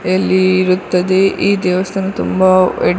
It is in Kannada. ಯಲ್ಲಿ ಇರುತ್ತದ್ದೆ ಈ ದೇವಸ್ಥಾನ ತುಂಬಾ --